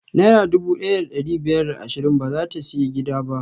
Naira dubu ɗaya da ɗari biyar da ashirin bazata siyan gida ba